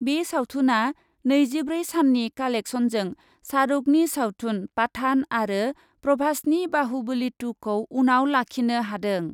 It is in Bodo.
बे सावथुनआ नैजिब्रै साननि कालेक्सनजों शाहरुकनि सावथुन पाठान आरो प्रभासनि बाहुबलि टुखौ उनाव लाखिनो हादों ।